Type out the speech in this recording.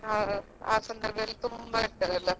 ಆ ಸಂದರ್ಭದಲ್ಲಿ ತುಂಬಾ ಇರ್ತದಲ್ವಾ.